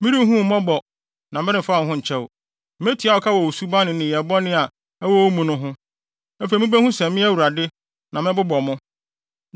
Merenhu wo mmɔbɔ, na meremfa wo ho nkyɛ wo. Metua wo ka wɔ wo suban ne nneyɛe bɔne a ɛwɔ wo mu no ho. Afei mubehu sɛ me, Awurade, na mebobɔ mo.